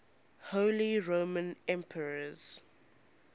holy roman emperors